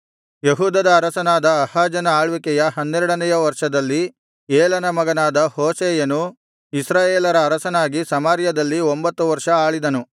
ಯೆಹೂದದ ಅರಸನಾದ ಆಹಾಜನ ಆಳ್ವಿಕೆಯ ಹನ್ನೆರಡನೆಯ ವರ್ಷದಲ್ಲಿ ಏಲನ ಮಗನಾದ ಹೋಶೇಯನು ಇಸ್ರಾಯೇಲರ ಅರಸನಾಗಿ ಸಮಾರ್ಯದಲ್ಲಿ ಒಂಭತ್ತು ವರ್ಷ ಆಳಿದನು